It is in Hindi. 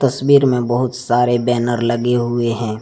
तस्वीर में बहुत सारे बैनर लगे हुए हैं।